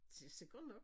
Det sikkert nok